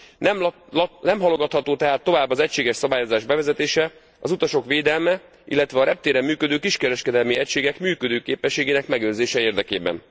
Nem halogatható tehát tovább az egységes szabályozás bevezetése, az utasok védelme, illetve a reptéren működő kiskereskedelmi egységek működőképességének megőrzése érdekében.